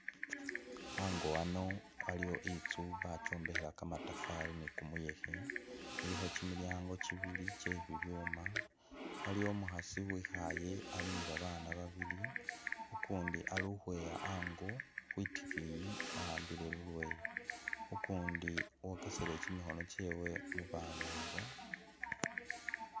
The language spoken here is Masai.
Ango ano waliwo itsu bakyombekhela kamatafari ni kumuyekhe, ilikho kyimilyango kyibili kyebibyuma, waliwo umukhasi uwikhaye ali nibabana babili ukundi ali ukhweya ango khwitikiyi wa'ambile lulweyo, ukundi wokeseleye kyimikhono kyewe mubana ibo.